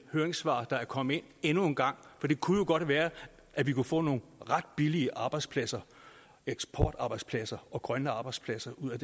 høringssvar der er kommet ind endnu en gang for det kunne jo godt være at vi kunne få nogle ret billige arbejdspladser eksportarbejdspladser og grønne arbejdspladser ud af